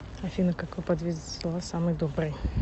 афина какой подвид зла самый добрый